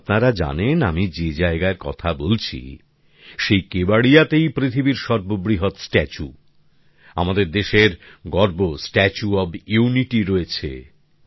এবং আপনারা জানেন আমি যে জায়গার কথা বলছি সেই কেবাড়িয়াতেই পৃথিবীর সর্ববৃহৎ স্ট্যাচু আমাদের দেশের গর্ব স্ট্যাচু অফ ইউনিটি রয়েছে